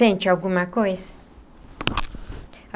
Sente alguma coisa?